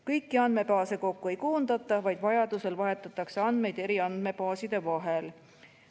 Kõiki andmebaase kokku ei koondata, vaid vajaduse korral vahetatakse andmeid eri andmebaaside vahel.